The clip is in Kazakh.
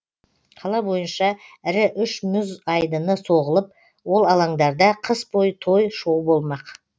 қала бойынша ірі үш мұз айдыны соғылып ол алаңдарда қыс бойы той шоу болмақ